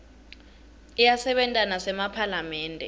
iyasebenta nasemaphalamende